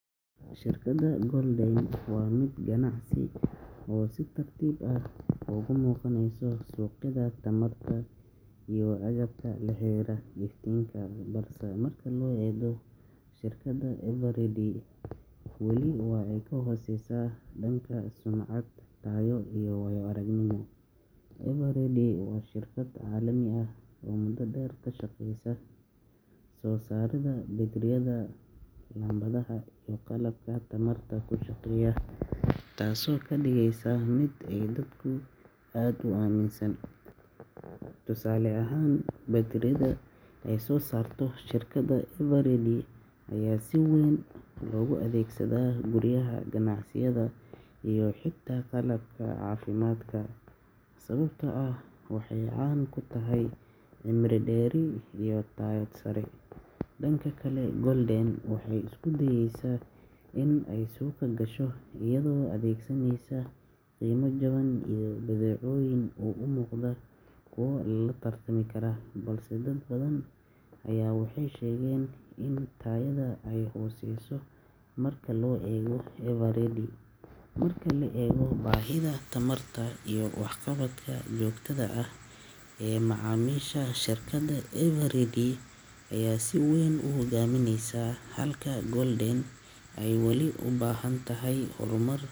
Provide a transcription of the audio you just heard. Shirkadda Golden waa mid ganacsi oo si tartiib ah uga soo muuqaneysa suuqyada tamarta iyo agabka la xiriira iftiinka, balse marka loo eego shirkadda Eveready, weli waa ay ka hooseysaa dhanka sumcad, tayo iyo waayo-aragnimo. Eveready waa shirkad caalami ah oo muddo dheer ka shaqeysay soo saaridda baytariyada, laambadaha iyo qalabka tamarta ku shaqeeya, taasoo ka dhigaysa mid ay dadku aad u aaminaan. Tusaale ahaan, baytariyada ay soo saarto shirkadda Eveready ayaa si weyn loogu adeegsadaa guryaha, ganacsiyada iyo xitaa qalabka caafimaadka, sababtoo ah waxay caan ku tahay cimri dheeri iyo tayo sare. Dhanka kale, Golden waxay isku dayeysaa inay suuqa gasho iyadoo adeegsaneysa qiime jaban iyo badeecooyin u muuqda kuwo la tartami kara, balse dad badan waxay sheegaan in tayada ay hooseyso marka loo eego Eveready. Marka la eego baahida tamarta iyo waxqabadka joogtada ah ee macaamiisha, shirkadda Eveready ayaa si weyn u hogaamineysa, halka Gol[c].